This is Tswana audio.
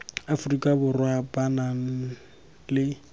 aforika borwa ba nang le